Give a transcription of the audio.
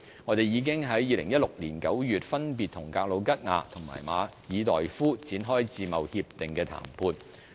我們已經在2016年9月分別與格魯吉亞和馬爾代夫展開自貿協定談判。